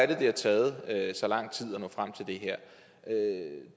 det taget så lang tid at nå frem til det her